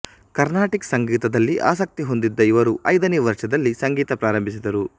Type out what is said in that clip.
Carnatic ಸಂಗೀತದಲ್ಲಿ ಆಸಕ್ತಿ ಹೊಂದಿದ್ದ ಇವರು ಐದನೇ ವರ್ಷದಲ್ಲಿ ಸಂಗೀತ ಪ್ರಾರಂಭಿಸಿದರು